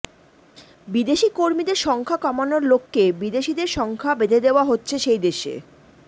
বিদেশি কর্মীদের সংখ্যা কমানোর লক্ষ্যে বিদেশিদের সংখ্যা বেঁধে দেওয়া হচ্ছে সেই দেশে